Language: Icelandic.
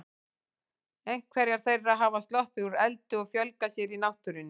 Einhverjar þeirra hafa sloppið úr eldi og fjölgað sér í náttúrunni.